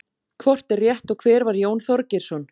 Hvort er rétt og hver var Jón Þorgeirsson?